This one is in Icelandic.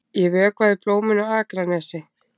Ég vökvaði blómin á Akranesi.